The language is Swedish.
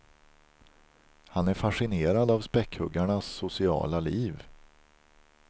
Han är fascinerad av späckhuggarnas sociala liv.